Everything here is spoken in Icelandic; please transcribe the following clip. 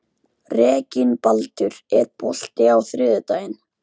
Reginbaldur, er bolti á þriðjudaginn?